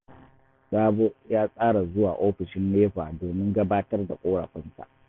Sabo ya tsara zuwa ofishin NEPA domin gabatar da ƙorafinsa